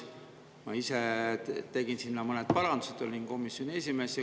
Ma ise tegin sinna mõned parandused, olin komisjoni esimees.